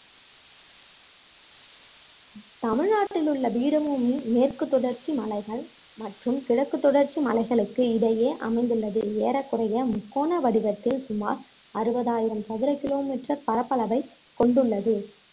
தமிழ்நாட்டில் உள்ள பீடபூமி மேற்கு தொடர்ச்சி மலைகள் மற்றும் கிழக்கு தொடர்ச்சி மலைகளுக்கு இடையே அமைந்துள்ளது ஏறக்குறைய முக்கோண வடிவத்தில் சுமார் அறுபதாயிரம் சதுர kilometer பரப்பளவைக் கொண்டுள்ளது